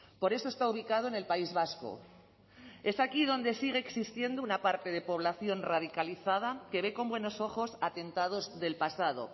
por eso está ubicado en el país vasco es aquí donde sigue existiendo una parte de población radicalizada que ve con buenos ojos atentados del pasado